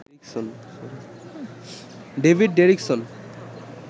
David Derrickson